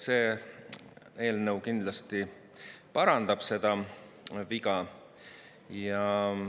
See eelnõu kindlasti parandab seda viga.